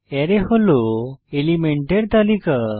Array হল এলিমেন্টের তালিকা